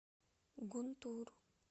гунтур